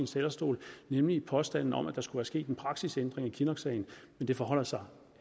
talerstol nemlig påstanden om at der skulle være sket en praksisændring i kinnocksagen men det forholder sig